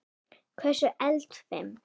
Hversu eldfim?